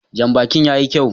Janbakin ya yi kyau